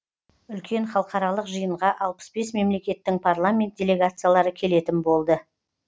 үлкен халықаралық жиынға алпыс бес мемлекеттің парламент делегациялары келетін болды